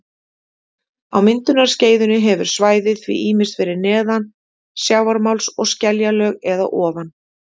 Á myndunarskeiðinu hefur svæðið því ýmist verið neðan sjávarmáls- skeljalög- eða ofan